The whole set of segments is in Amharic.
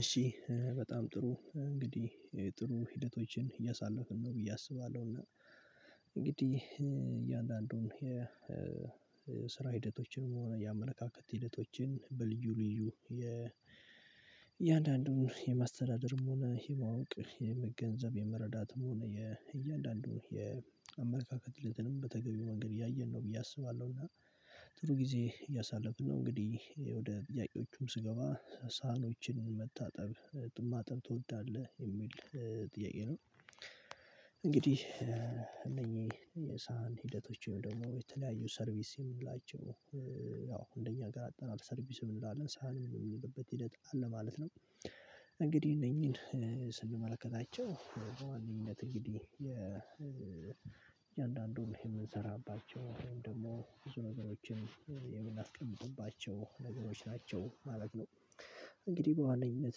እሺ በጣም ጥሩ እንግዲህ ጥሩ ሂደቶችን እያሳለፍን ነው ብዬ አስባለሁ። እና እንግዲህ እያንዳንዱን የስራ ሂደቶችን ሆነ ያመለካከት ሂደቶችን በልዩ ልዩ የ እያንዳንዱን የማሰተዳደርም ሆነ የመዋቅ የመገንዘብ የመረዳትም ሆነ የእያንዳንዱን የአመለካከትም በተገቢው መንገድ እያየን ነው ብዬ አስባለሁ። አስባለሁና ጥሩ ጊዜ እያሳለፍን ነው እንግዲህ ወደ ጥያቄዎቹም ስገባ ሳህኖችን መታጠብ ማጠብ ትወዳለህ የሚል ጥያቄ ነው? እንግዲህ የሳህን ሂደቶችም ወይም ደግሞ የተለያዩ ሰርቪስ የምንላቸው አዎ እንደኛ አገር አጠራር ሰርቪስም እንላለን ሳህን የሚልበት ሂደት አለ ማለት ነው። እንግዲህ እነኚህን ስንመለከታቸው በዋነኝነት እንግዲህ የእያንዳንዱን ይሄን የምንሰራባቸው ወይም ደግሞ ብዙ ነገሮችን ነገሮች ናቸው ማለት ነው። እንግዲህ በዋነኝነት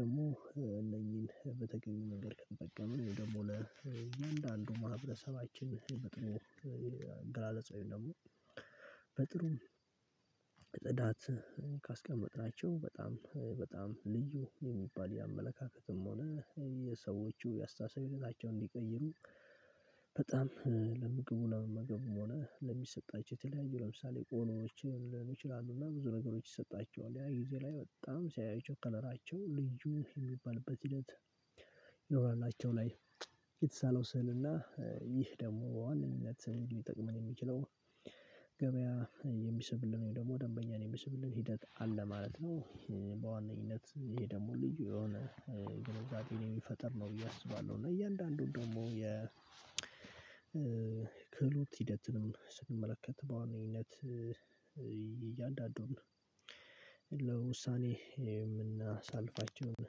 ደግሞ እነኚህን በተገኘው ነገር ከተጠቀምን ደግሞ ለእያንዳንዱ ማህበረሰባችን በጥሙ አገላለጽ ወይም ደግሞ በጥሩ ጽዳት ካስቀመጥናቸው በጣም በጣም ልዩ የሚባል የአመለካከትም ሆነ የሰዎቹ የአስተሳሰባቸውን እንዲቀይሩ በጣም ለምግቡና መገቡም ሆነ ለሚሰጣቸው የተለያዩ ለምሳሌ ቆኖዎች ይሆናሉና ብዙ ነገሮች ይሰጣቸዋል ያ ጊዜ ላይ በጣም ሲያዩት ከለራቸው ልጅ ልብስ የሚባልበት። ሂደት አንዳንዴ የተሳለው ስዕል እና ይህ ደግሞ አንድ እምነት ሊድ የሚጠቅመን የሚችለው ገበያ የሚስብልን ደግሞ ደንበኛ የሚስብልኝ ሂደት አለ ማለት ነው። በዋነኝነት ይሄ ደግሞ ልዩ የሆነ ግንዛቤ የሚፈጥር ነው ብዬ አስባለሁ። እና እያንዳንዱን ደግሞ የ ክህሎት ሂደትንም ስንመለከት በዋነኝነት እያንዳንዱን ለውሳኔ የምናሳልፋቸውን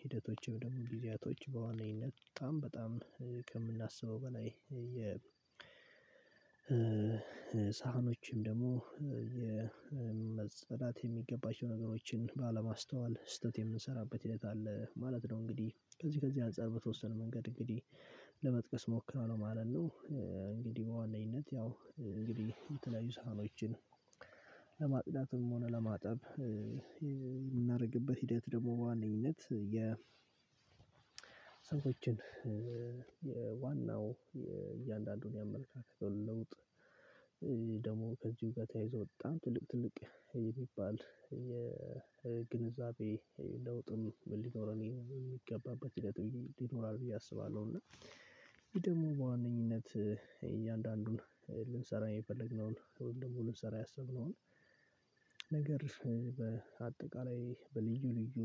ሂደቶችም ደግሞ ጊዜያቶች በዋናነት በጣም በጣም ከምናስበው በላይ የ ሳህኖችም ደግሞ የመጸዳት የሚገባቸው ነገሮችን ባለማስተዋል ስህተት የምንሰራበት ሂደት አለ ማለት ነው። እንግዲህ ከዚህ ከዚህ አንፃር በተወሰነ መንገድ እንግዲህ ለመጥቀስ ሞክረው ነው ማለት ነው። እንግዲህ በዋነኝነት ያው እንግዲህ የተለያዩ ሳህኖችን ለማጽዳትም ሆነ ለማጠብ የምናደርግበት ሂደት ደግሞ በዋነኝነት የ ሰዎችን የዋናው እያንዳንዱን ያመለካከት ለውጥ ደግሞ ከዚሁ ጋር ተያይዞ በጣም ትልቅ ትልቅ የሚባል የግንዛቤ ለውጥም ሊኖረን የሚገባበት ሂደት ይኖራል ብዬ አስባለሁ። እና ይሄ ደግሞ በዋነኝነት እያንዳንዱን ልንሰራ የፈለግነውን ደግሞ ልንሰራ ያሰብነውን ነገር በአጠቃላይ በልዩ ልዩ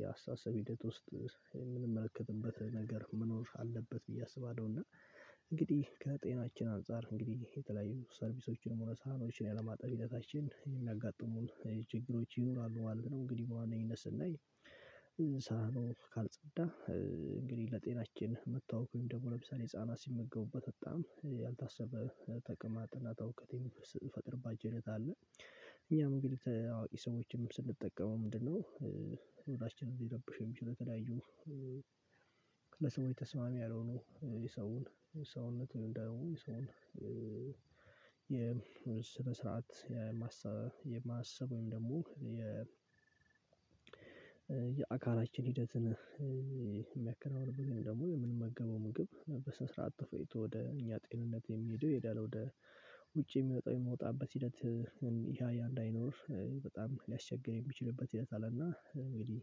የአስተሳሰብ ሂደት ውስጥ የምንመለከትበት ነገር መኖር አለበት ብዬ አስባለሁ። እና እንግዲህ ከጤናችን አንፃር እንግዲህ የተለያዩ ሰርቪሶችን መሆን ሳህኖችን ያለማጠብ ሂደታችን የሚያጋጥሙን ችግሮች ይኖራሉ ማለት ነው። እንግዲህ በዋናነት ስናይ ሳህኑ ካልጸዳ እንግዲህ ለጤናችን መታወክ ደግሞ ለምሳሌ ህፃናት ሲመገቡበት በጣም ያልታሰበ ተቅማጥ እና ተውከት ጥናታው ሲፈጥርባቸው ሂደት አለ። እኛም እንግዲህ አዋቂ ሰዎችንም ስንጠቀመው ምንድነው ምግባችንን ሲረብሽ የሚችለው የተለያዩ ለሰውነት ተስማሚ ያልሆኑ የሰውን ሰውነት የሰውን የስነ ስርዓት የማሰብ የማሰብ ወይም ደግሞ የ የአካላችን ሂደት የሚያከናውንበት ግን ደግሞ የምንመገበው ምግብ በስነስርዓት ተፈጭቶ ወደ እኛ ጤንነት የሚሄደው ይሄዳል ወደ ውጭ የሚወጣው የሚወጣበት ሂደት። ይሄ እያየ እንዳይኖር በጣም ሊያስቸግር የሚችልበት ይሄዳል እና እንግዲህ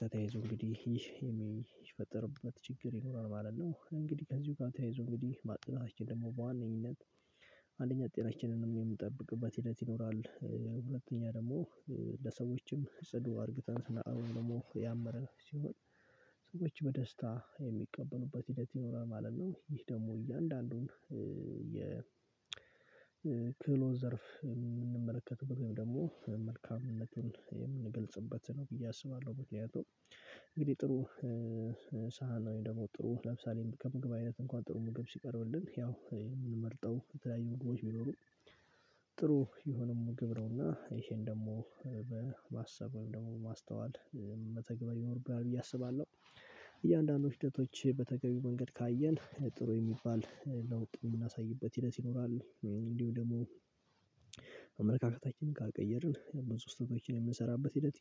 ከተያይዞ እንግዲህ የሚፈጠርበት ችግር ይኖራል ማለት ነው። እንግዲህ ከዚሁ ጋር ተያይዞ እንግዲህ ማጽናታችን ደግሞ በዋነኝነት ጤናችንን የምንጠብቅበት ሂደት ይኖራል። ሁለተኛ ደግሞ ለሰዎችም ጽዱ አርግተን ስናቀርብ ደግሞ ያመረን ሲሆን ሰዎች በደስታ የሚቀበሉበት ሂደት ይኖራል ማለት ነው። ይህ ደግሞ እያንዳንዱን የ ክህሎት ዘርፍ የምንመለከተው ወይም ደግሞ መልካምነቱን የምንገልጽበት ነው ብዬ አስባለሁ። በተያያዘ እንግዲህ ጥሩ ሳህን ነው የሚደመው ጥሩ ለምሳሌ የምግብ አይነት እንኳን ጥሩ ምግብ ሲቀርብልን ያው የምንመርጠው የተለያዩ ምግቦች ቢኖሩ ጥሩ የሆነው ምግብ ነውና ይሄን ደግሞ በማሰብ ወይም ደግሞ በማስተዋል መተግበር ይኖርብናል ብዬ አስባለሁ። እያንዳንዱ ሂደቶች በተገቢው መንገድ ካየን ጥሩ የሚባል ለውጥ የምናሳይበት ሂደት ይኖራል። እንዲሁ ደግሞ አመለካከታችንን ካልቀየርን በሶስት ወር የምንሰራበት ሂደት